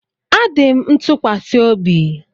A dị m ntụkwasị obi